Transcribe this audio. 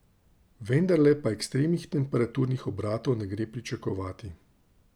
Vendarle pa ekstremnih temperaturnih obratov ne gre pričakovati.